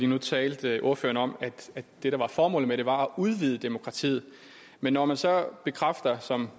nu talte ordføreren om at det der var formålet var at udvide demokratiet men når man så bekræfter som